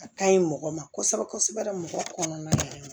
A ka ɲi mɔgɔ ma kosɛbɛ kosɛbɛ mɔgɔ kɔnɔna na